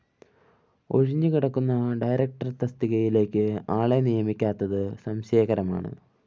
ഒഴിഞ്ഞുകിടക്കുന്ന director തസ്തികയിലേക്ക്‌ ആളെ നിയമിക്കാത്തത്‌ സംശയകരമാണ്‌